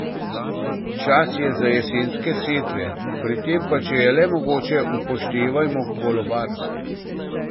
Čas je za jesenske setve, pri tem pa, če je le mogoče, upoštevajmo kolobar.